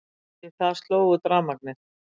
Við það sló út rafmagnið.